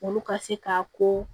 Olu ka se ka ko